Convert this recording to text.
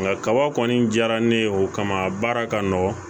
Nka kaba kɔni diyara ne ye o kama a baara ka nɔgɔn